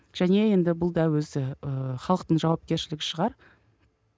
және енді бұл да өзі ііі халықтың жауапкершілігі шығар